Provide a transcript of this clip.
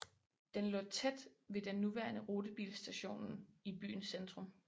Den lå tæt ved den nuværende rutebilstationen i byens centrum